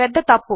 పెద్ద తప్పు